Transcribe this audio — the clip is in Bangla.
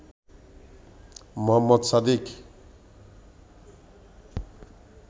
মোহাম্মদ সাদিক